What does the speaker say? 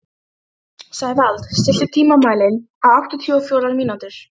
Sævald, stilltu tímamælinn á áttatíu og fjórar mínútur.